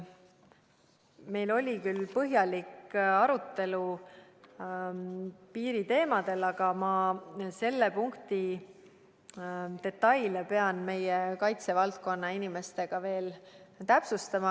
Meil oli küll põhjalik arutelu piiri teemadel, aga selle punkti detaile ma pean ausalt öeldes meie kaitsevaldkonna inimestega veel täpsustama.